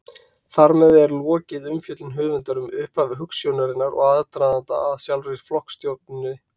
Þar með er lokið umfjöllun höfundar um upphaf hugsjónarinnar og aðdragandann að sjálfri flokksstofnuninni.